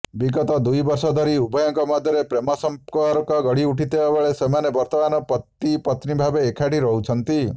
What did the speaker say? ବିଗତ ଦୁଇ ବର୍ଷ ଧରି ଉଭୟଙ୍କ ମଧ୍ୟରେ ପ୍ରେମସମ୍ପର୍କ ଗଢିଉଠିଥିବାବେଳେ ସେମାନେ ବର୍ତ୍ତମାନ ପତିପତ୍ନୀଭାବେ ଏକାଠି ରହୁଛନ୍ତି